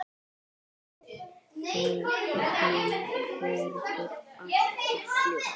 Og þögnin hverfur alltof fljótt.